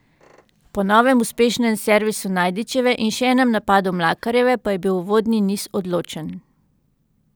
Po novem uspešnem servisu Najdičeve in še enem napadu Mlakarjeve pa je bil uvodni niz odločen.